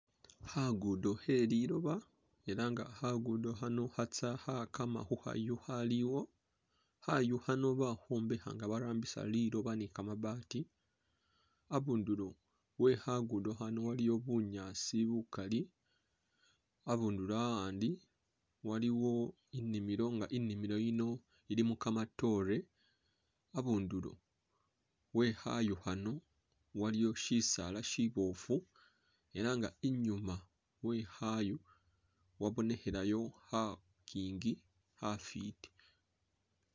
Khagudo kheliloba ela nga khagudo khano khatsa khagama khukhayu akhaliwo khayu khano bakhimbaka nga barambisa liloba ni gamabaati abundulo wekhagudo khano waliyo bunyaasi bugali habundu handi waliwo inimilo nga inimilo yino ilimo gamadore habundulo wekhaayo khano waliwo shisaala shiboofu ela nga inyuma wekhaayu wabonekhelayo khagingi khafiti.